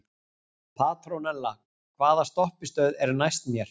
Petrónella, hvaða stoppistöð er næst mér?